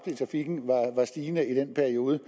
i trafikken var stigende i den periode